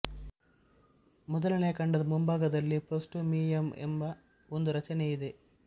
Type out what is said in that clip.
ಮೊದಲನೆಯ ಖಂಡದ ಮುಂಭಾಗದಲ್ಲಿ ಪ್ರೋಸ್ಟೋಮಿಯಮ್ ಎಂಬ ಒಂದು ರಚನೆ ಇದೆ